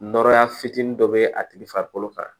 Nɔrɔya fitinin dɔ be a tigi farikolo kan